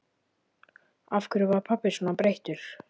Af hverju var pabbi svona breyttur?